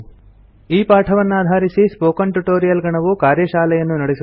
ಈ ಪಾಠವನ್ನಾಧಾರಿಸಿ spoken tutorial ಗಣವು ಕಾರ್ಯಶಾಲೆಯನ್ನು ನಡೆಸುತ್ತದೆ